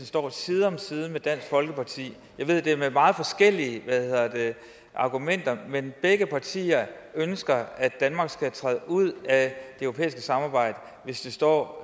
står side om side med dansk folkeparti jeg ved at det er med meget forskellige argumenter men begge partier ønsker at danmark skal træde ud af det europæiske samarbejde hvis det står